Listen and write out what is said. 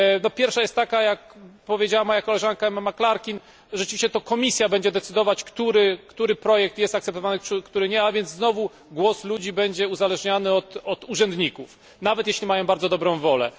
Pierwsza to, jak powiedziała moja koleżanka Emma McClarkin, że to rzeczywiście Komisja będzie decydować, który projekt jest akceptowany, a który nie, a więc znowu głos ludzi będzie uzależniany od urzędników, nawet jeśli mają bardzo dobrą wolę.